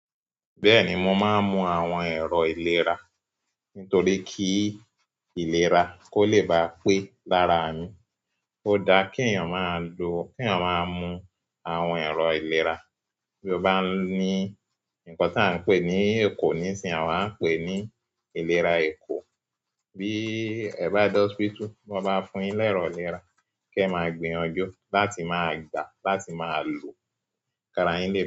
Bẹ́ẹ̀ni, mo máa ń mu àwọn ẹ̀rọ ìlera nítorí kí ìlera kó lè bá pé lára mi. Ó dáa kí èèyàn máa ń mu àwọn ẹ̀rọ ìlera. Bí ó bá ní nǹkan tí à ń pè ní ekò nísinsìnyí, à wa ń pè ní ìlera ekò. Bi ẹ ba de hospital ti wọn ba fún yin ni ẹrọ ìlera, e maa gbìyànjú láti maa gbaa láti maa lo, ki ara yin le pe.